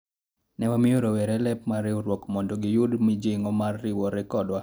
ne wamiyo rowere lep riwruok mondo giyud mijing'o mar riwore kodwa